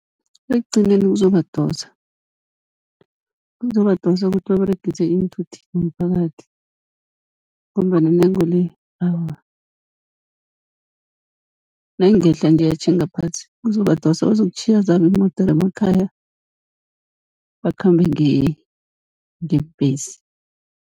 Ekugcineni kuzobadosa, kuzobadosa kuthi baberegise iinthuthi zomphakathi, ngombana intengo le awa nayingehla nje yatjhinga phasi kuzobadosa, bazokutjhiya zabo iimodere emakhaya bakhambe ngebhesi.